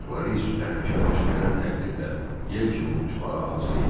Ayaqları isə təhlükə baş verən təqdirdə yel kimi uçmağa hazır idi.